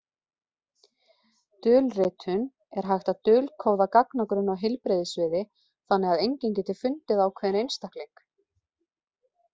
Dulritun Er hægt að dulkóða gagnagrunn á heilbrigðissviði þannig að enginn geti fundið ákveðinn einstakling?